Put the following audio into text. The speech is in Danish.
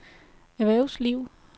erhvervsliv